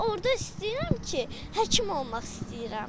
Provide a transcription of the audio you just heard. Və orda istəyirəm ki, həkim olmaq istəyirəm.